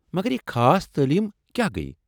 مگر یہ خاص تعلیٖم کیٛاہ گٔیہ؟